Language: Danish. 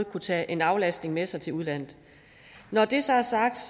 kan tage en aflastning med sig til udlandet når det så er sagt